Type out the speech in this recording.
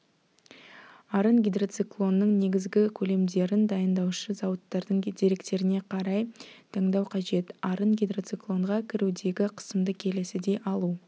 арын гидроциклонның негізгі көлемдерін дайындаушы зауыттардың деректеріне қарай таңдау қажет арын гидроциклонға кірудегі қысымды келесідей алу